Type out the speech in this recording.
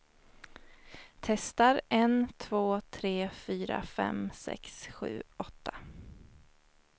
Testar en två tre fyra fem sex sju åtta.